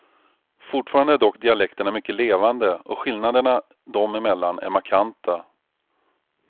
Fortfarande är dock dialekterna mycket levande och skillnaderna dem emellan är markanta.